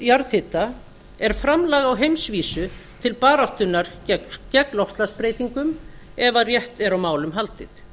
jarðhita er framlag á heimsvísu til baráttunnar gegn loftslagsbreytingum ef rétt er á málum haldið